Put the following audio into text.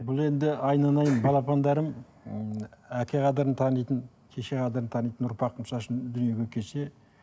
бұл енді айналайын балапандарым м әке қадірін танитын шеше қадірін танитын ұрпақ мысалы үшін дүниеге келсе